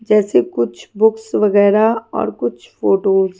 जैसे कुछ बुक्स वगैरा और कुछ फोटोस --